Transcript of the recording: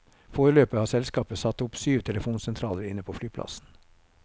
Foreløpig har selskapet satt opp syv telefonsentraler inne på flyplassen.